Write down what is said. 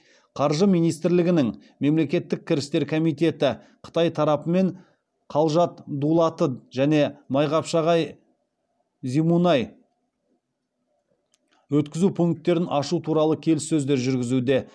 қаржы министрлігінің мемлекеттік кірістер комитеті қытай тарапымен қалжат дулаты және майқапшағай зимунай өткізу пункттерін ашу туралы келіссөздер жүргізуде